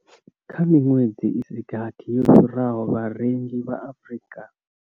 Kha miṅwedzi i si gathi yo fhiraho, vharengi vha Afrika.